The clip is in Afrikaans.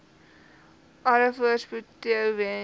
alle voorspoed toewens